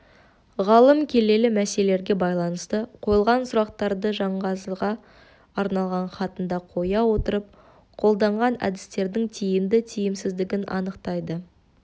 ғалым келелі мәселелерге байланысты қойылған сұрақтарды жанғазыға арналған хатында қоя отырып қолданған әдістердің тиімді тиімсіздігін анықтайды